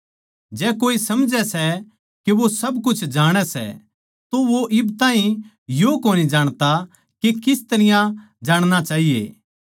जै कोए समझै सै के वो सब कुछ जाणै सै तो वो इब ताहीं यो कोनी जाणता के किस तरियां जाणणा चाहिये